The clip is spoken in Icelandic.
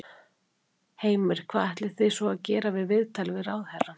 Heimir: Hvað ætlið þið svo að gera við viðtalið við ráðherrann?